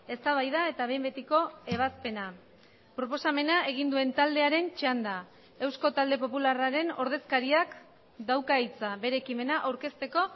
eztabaida eta behin betiko ebazpena proposamena egin duen taldearen txanda eusko talde popularraren ordezkariak dauka hitza bere ekimena aurkezteko